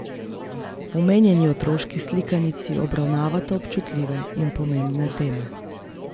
Omenjeni otroški slikanici obravnavata občutljive in pomembne teme.